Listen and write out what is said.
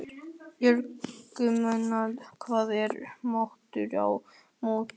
Bjargmundur, hvað er í matinn á mánudaginn?